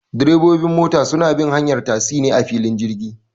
Direbobi mota suna bin hanyar tasi ne a filin jirgi